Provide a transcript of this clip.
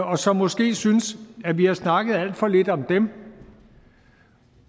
og som måske synes at vi har snakket alt for lidt om dem